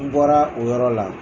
N bɔra o yɔrɔ la